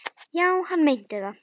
Já, hann meinti það.